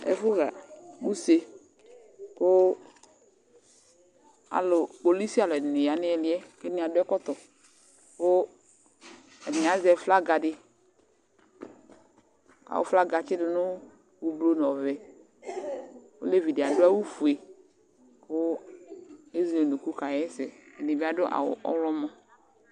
Ɛfʋɣa use kʋ alʋ kpolisi alʋɛdɩnɩ ya nʋ ɩɩlɩ yɛ kʋ ɛdɩnɩ adʋ ɛkɔtɔ kʋ ɛdɩnɩ azɛ flaga dɩ kʋ flaga yɛ atsɩdʋ nʋ ʋblo nʋ ɔvɛ Olevi dɩ adʋ awʋfue kʋ ezele unuku kaɣa ɛsɛ Ɛdɩ bɩ adʋ awʋ ɔɣlɔmɔ